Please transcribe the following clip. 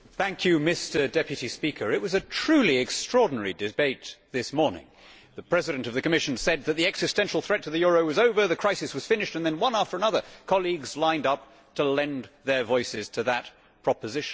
Mr President, it was a truly extraordinary debate this morning. The President of the Commission said that the existential threat to the euro was over, the crisis was finished and then, one after another, colleagues lined up to lend their voices to that proposition.